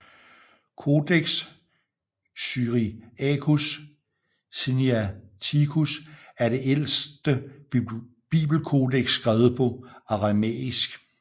Codex syriacus sinaiticus er det ældste bibelkodeks skrevet på aramæisk